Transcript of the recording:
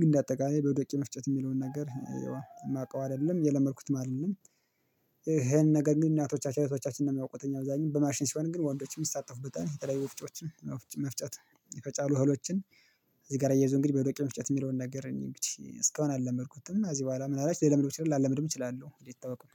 ግን እንደ አጠቃላይ በዱቄት መፍጨት የሚለውን ነገር የማውቀው አይደለም የለመድኩት ማለት ነው። ይሄን ነገር የሚሉ እናቶቻችን አይነቶቻችንን ነው የሚያውቁት እኛ በዛኛው በማሽን ሲሆን ግን ወንዶችን የሚሳተፉት በጣም የተለያዩ መፍጨቶችን የፈጫሉ እውነቶችን እዚህ ጋር እየያዙ እንግዲህ በዶቄት መፍጨት የሚለውን ነገር እኔ እስካሁን አልለመድኩትም። እዚህ በኋላ ምን አላችሁ ላለምድም እችላለሁ ሊታወቅ